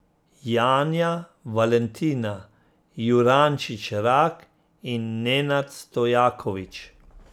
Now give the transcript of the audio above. Janja Valentina Jurančič Rak in Nenad Stojaković.